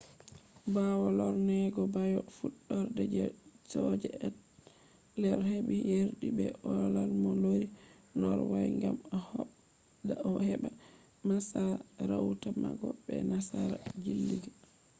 ɓawo lorneego ɓawo fuɗɗurde je soja ethelred heɓi yerdi be olaf mo lori norway gam o habda o heɓa masarauta mako be nasara jilliiga